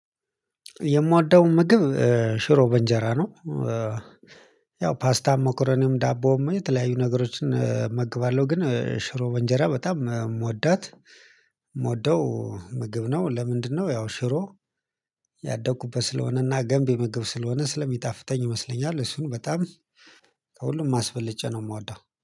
የምወደው ምግብ ሽሮ በእንጀራ ነው። ያው ፓስታም ሞከረንም ዳቦም የተለያዩ ነገሮችን እመገባለሁ ግን ሽሮ በእንጀራ በጣም የምወዳት የምወደው ምግብ ነው። ለምንድነው? ያው ሽሮ ያደኩበት ስለሆነና ገንቢ ምግብ ስለሆነ ስለሚጣፍጠኝ ይመስለኛል እሱን በጣም ከሁሉም አስበልጨ ነው የምወደው